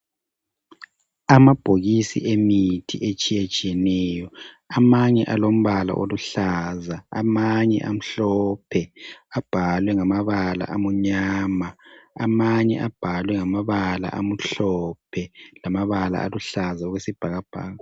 Amabhokisi emithi etshiyetshiyeneyo, amanye alombala oluhlaza, amanye amhlophe abhalwe ngamabala amnyama amanye abhalwe ngamabala amhlophe lamabala aluhlaza okwesibhakabhaka.